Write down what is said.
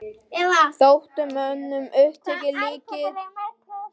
Þótti mönnum sem uppnefnið líkkistur flotans hefði nú sannast illilega.